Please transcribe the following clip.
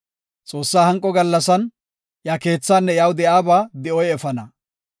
Xoossaa hanqo gallasan, iya keethaanne iyaw de7iyaba di7oy efana.